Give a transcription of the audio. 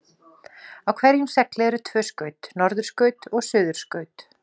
Á hverjum segli eru tvö skaut, norðurskaut og suðurskaut.